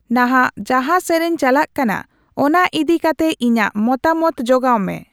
ᱱᱟᱦᱟᱜ ᱡᱟᱦᱟ ᱥᱮᱨᱮᱧ ᱪᱟᱞᱟᱜ ᱠᱟᱱᱟ ᱚᱱᱟ ᱤᱫᱤᱠᱟᱛᱮ ᱤᱧᱟᱹᱜ ᱢᱚᱛᱟᱢᱚᱛ ᱡᱚᱜᱟᱣ ᱢᱮ